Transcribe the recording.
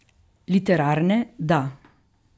Literarne da.